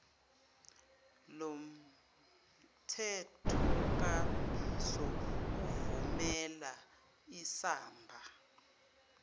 lomthethokambiso uvumela isamsa